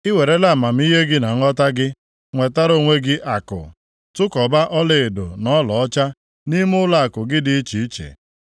I werela amamihe gị na nghọta gị nwetara onwe gị akụ, tụkọba ọlaedo na ọlaọcha, nʼime ụlọakụ gị dị iche iche.